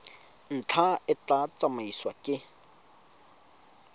ntlha e tla tsamaisiwa ke